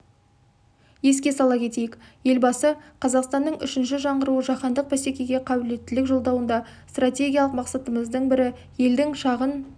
еске сала кетейік елбасы қазақстанның үшінші жаңғыруы жаһандық бәсекеге қабілеттілік жолдауында стратегиялық мақсатымыздың бірі елдің шағын